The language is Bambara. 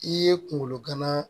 I ye kunkolo gana